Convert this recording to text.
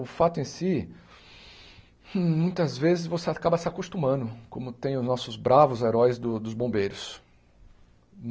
O fato em si, muitas vezes você acaba se acostumando, como tem os nossos bravos heróis do dos bombeiros.